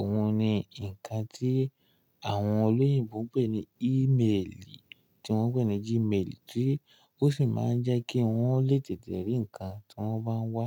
òun ni ǹkan tí àwọn olóyìnbo ń pè ní email tí wọ́n ń pè ní Gmail tí ó sì máa ń jẹ́ kí wọ́n lè tètè rí ǹkan tí wọ́n bá wá.